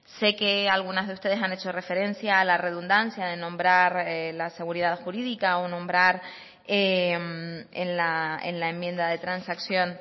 sé que algunas de ustedes han hecho referencia a la redundancia de nombrar la seguridad jurídica o nombrar en la enmienda de transacción